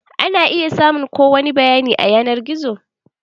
Ana iya samun ko wani bayani a yanar gizo.